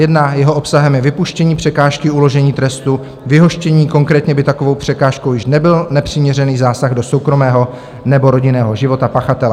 Jeho obsahem je vypuštění překážky uložení trestu vyhoštění, konkrétně by takovou překážkou již nebyl nepřiměřený zásah do soukromého nebo rodinného života pachatele.